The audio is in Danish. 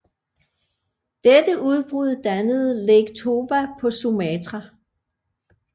Dette udbrud dannede Lake Toba på Sumatra